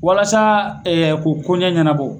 Walasa ko koɲɛ ɲɛnabɔ.